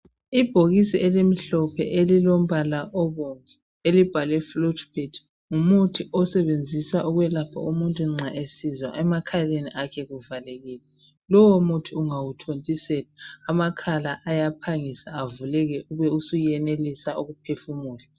Ibhokisi elimhlophe elilombala obomvu elibhalwe flutibert, ngumuthi osetshenziswa ukwelapha umuntu nxa esizwa emakhaleni akhe kuvalekile. Lowo muthi ungawuthontisela amakhala ayaphangisa avuleke ube usuyenelisa ukuphefumula.